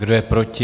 Kdo je proti?